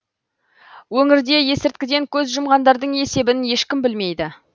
өңірде есірткіден көз жұмғандардың есебін ешкім білмейді